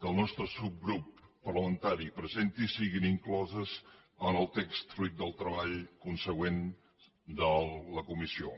que el nostre subgrup parlamentari presenti siguin incloses en el text fruit del treball consegüent de la comissió